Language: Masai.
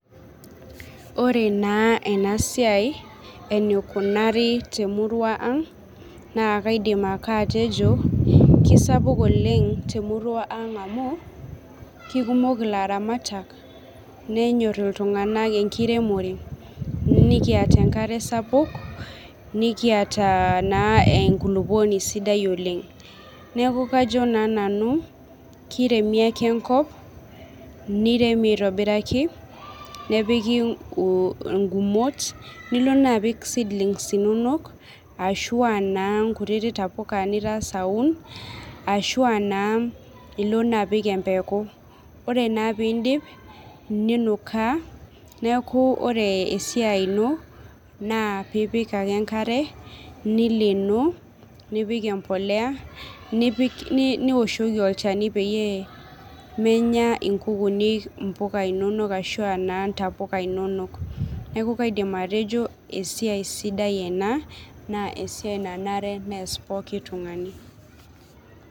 Ore naa ena siai eneikunari temurua aang,' naa kaidim ake atejo kisapuk oleng' temurua ang' amu kikimok ilaramatak nenyorr iltunganak enkiremore, nikiata enkare sapuk, nikiata naa enkulukoni sidai oleng'. Neeku kajo naa nanu kiremi ake enkop, nirem aitobiraki nepiki ingumot, nilo naa apik seedlings inonok ashuu anaa inkutiti tapuka nitangasa aun ashu naa ilo naapik embeku. Ore naa piidip ninukaa neeku ore esiai ino naa piipik ake enkare, nileenoo, nipik embolea, niwoshoki olchani peyie menya inkuukuni imbuka inono ashu aa naa intapuka inonok. Neeku kaidim atejo esiai sidai ena, naa esiai nanare neas pooki tungani.